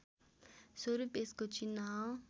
स्वरूप यसको चिन्ह